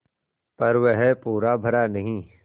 पर वह पूरा भरा नहीं